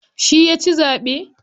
Shi yaci zaɓe.